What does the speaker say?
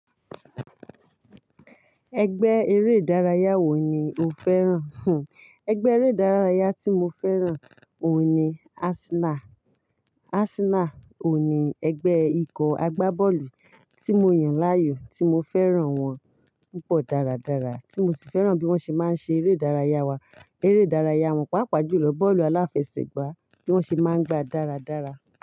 Ẹgbẹ́ eré ìdárayá wo ni o fẹ́ràn? Ẹgbẹ́ eré ìdárayá tí mo fẹ́ràn òun ni Arsenal. Arsenal òun ni ẹgbẹ́ ikọ̀ agbábọ́ọ̀lù tí mo yàn láàyò, tí mo fẹ́ràn wọn púpọ̀ dáradára, tí mo sì fẹ́ràn bí wón ṣe máa ń ṣe eré ìdárayá wa. Eré ìdárayá wọn, pàápàá jùlọ bọ́ọ̀lù aláfẹsẹ̀gbá, bí wón ṣe máa ń gbá dáradára.